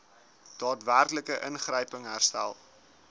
daadwerklike ingryping herstel